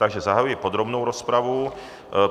Takže zahajuji podrobnou rozpravu.